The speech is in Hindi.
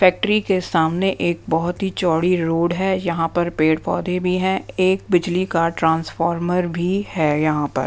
फैक्ट्री के सामने एक बहोत ही चौड़ी रोड है यहाँ पर पेड़-पौधे भी है एक बिजली का ट्रांसफार्मर भी है यहाँ पर।